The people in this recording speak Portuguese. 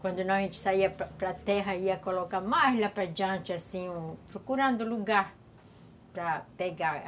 Quando não, a gente saía para para a terra, ia colocar mais lá para adiante, assim, procurando lugar para pegar.